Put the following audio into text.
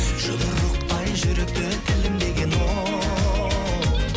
жұдырықтай жүректі тілімдеген оу